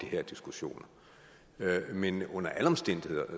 her diskussioner men under alle omstændigheder